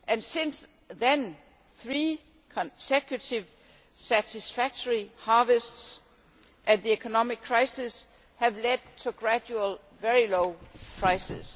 Since then, three consecutive satisfactory harvests and the economic crisis have led gradually to very low prices.